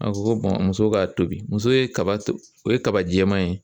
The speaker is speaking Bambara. A ko ko muso k'a tobi muso ye kaba o ye kaba jɛman ye